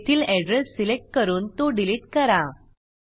तेथील address select करून तो डिलीट करा